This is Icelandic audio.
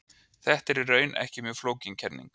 Þetta er í raun ekki mjög flókin kenning.